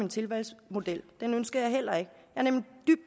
en tilvalgsmodel den ønsker jeg heller ikke